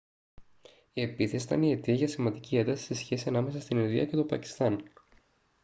η επίθεση ήταν η αιτία για σημαντική ένταση στη σχέση ανάμεσα στην ινδία και το πακιστάν